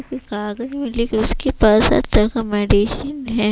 कागज में लिख उसके पास अच्छा का मेडिसिन है।